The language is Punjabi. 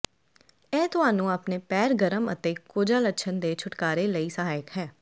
ਇਹ ਤੁਹਾਨੂੰ ਆਪਣੇ ਪੈਰ ਗਰਮ ਅਤੇ ਕੋਝਾ ਲੱਛਣ ਦੇ ਛੁਟਕਾਰੇ ਲਈ ਸਹਾਇਕ ਹੈ